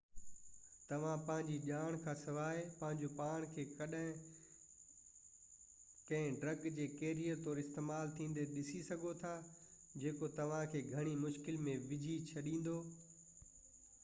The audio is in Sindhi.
توهان پنهنجي ڄاڻ کانسواءِ پنهنجو پاڻ کي ڪنهن ڊرگ جي ڪيريئر طور استعمال ٿيندي ڏسي سگهو ٿا جيڪو توهان کي گهڻي مشڪل ۾ وجهي ڇڏيندو